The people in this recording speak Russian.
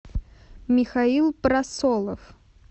михаил просолов